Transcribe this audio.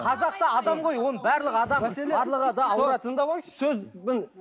қазақ та адам ғой оның барлығы адам барлығы да ауырады тыңдап алыңызшы сөздің